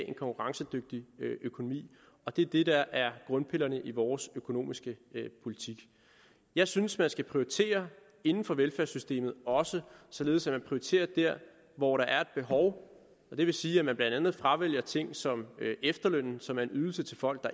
en konkurrencedygtig økonomi og det er det der er grundpillerne i vores økonomiske politik jeg synes man også skal prioritere inden for velfærdssystemet således at man prioriterer der hvor der er et behov og det vil sige at man blandt andet fravælger ting som efterlønnen som er en ydelse til folk